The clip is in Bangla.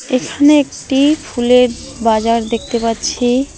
এখানে একটি ফুলের বাজার দেখতে পাচ্ছি।